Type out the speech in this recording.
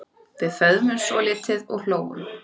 Við föðmuðumst svolítið og hlógum.